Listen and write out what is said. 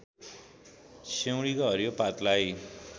सिउँडीको हरियो पातलाई